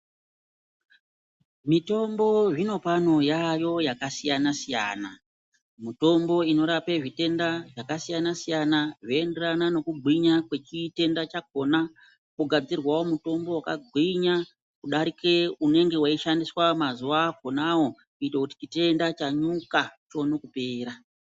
Mitombo hino kwano yaayo yakasiyana siyana mutombo inorapa zvitenda zvakasiyana siyana zveienderana nekugwinya kwechitenda chachona kogadzirwao mutombo wakagwinya kudarika unenge weishandiswa mazuwa akonawo kuitire kuti chitenda chanyuka chione kupera.